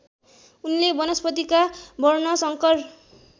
उनले वनस्पतिका वर्णशंकर